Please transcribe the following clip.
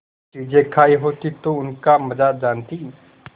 चीजें खायी होती तो उनका मजा जानतीं